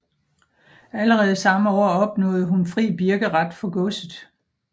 Allerede samme år opnåede hun fri birkeret for godset